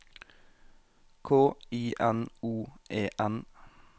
K I N O E N